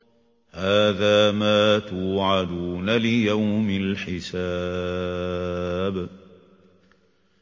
هَٰذَا مَا تُوعَدُونَ لِيَوْمِ الْحِسَابِ